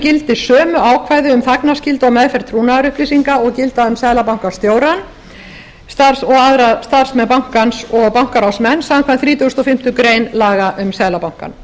gildi sömu ákvæði um þagnarskyldu og meðferð trúnaðarupplýsa og gilda um seðlabankastjóra og aðra starfsmenn bankans og bankaráðsmenn samkvæmt þrítugustu og fimmtu grein laga um seðlabankann